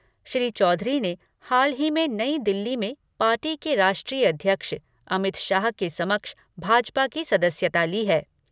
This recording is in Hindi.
श्री चौधरी ने हाल ही में नई दिल्ली में पार्टी के राष्ट्रीय अध्यक्ष अमित शाह के समक्ष भाजपा की सदस्यता ली है।